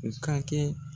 U ka kɛ